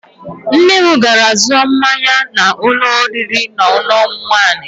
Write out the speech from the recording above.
Nne m gara zụọ mmanya na ụlọ oriri na ọṅụṅụ waịnị.